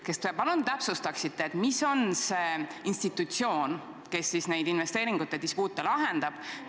Kas te palun täpsustaksite, mis on see institutsioon, kes neid investeeringute dispuute lahendab?